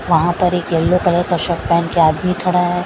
वहाँ पर एक येलो कलर का शर्ट पैहन के आदमी खड़ा है।